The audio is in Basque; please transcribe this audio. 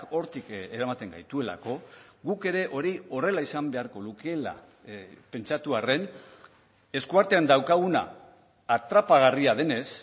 hortik eramaten gaituelako guk ere hori horrela izan beharko lukeela pentsatu arren eskuartean daukaguna atrapagarria denez